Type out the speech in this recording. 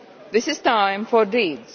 It is time for deeds.